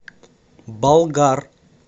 болгар